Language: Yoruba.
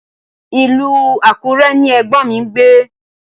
Ilú Àkúrẹ ni ẹ̀gbọ́m mi gbé